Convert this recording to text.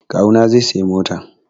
Kawu na zai sayi mota